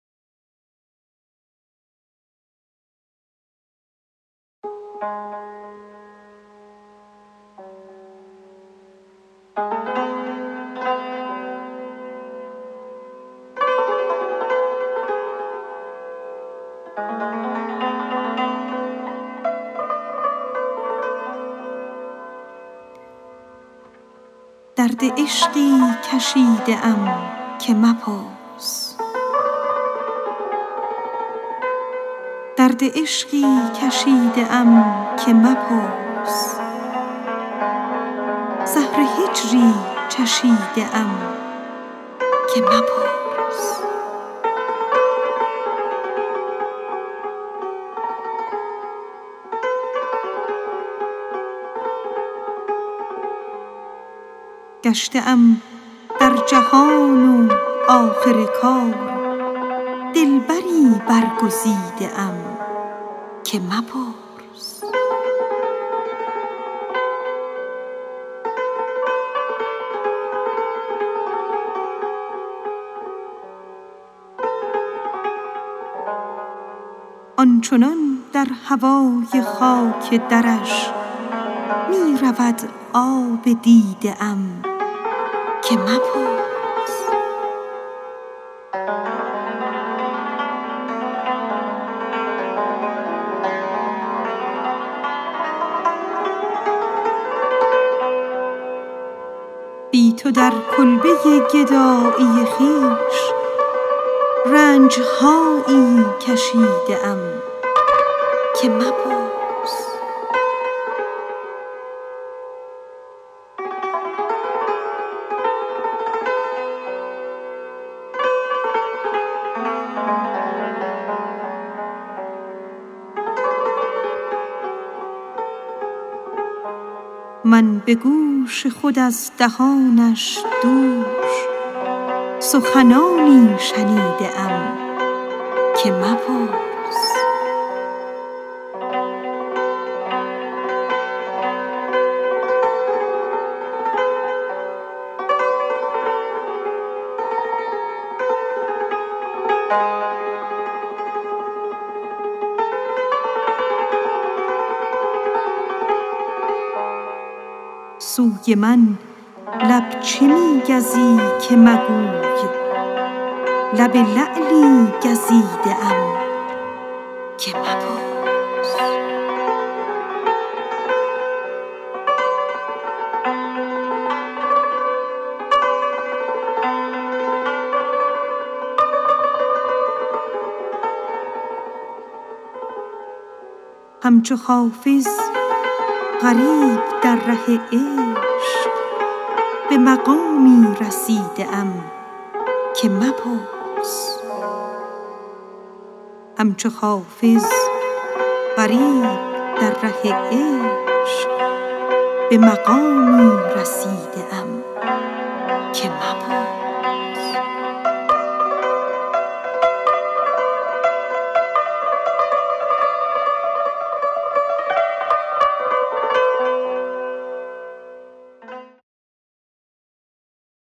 درد عشقی کشیده ام که مپرس زهر هجری چشیده ام که مپرس گشته ام در جهان و آخر کار دلبری برگزیده ام که مپرس آن چنان در هوای خاک درش می رود آب دیده ام که مپرس من به گوش خود از دهانش دوش سخنانی شنیده ام که مپرس سوی من لب چه می گزی که مگوی لب لعلی گزیده ام که مپرس بی تو در کلبه گدایی خویش رنج هایی کشیده ام که مپرس همچو حافظ غریب در ره عشق به مقامی رسیده ام که مپرس